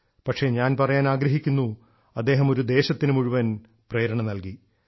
പക്ഷേ ഞാൻ പറയാൻ ആഗ്രഹിക്കുന്നു അദ്ദേഹം ഒരു ദേശത്തിനു മുഴുവൻ പ്രേരണ നൽകി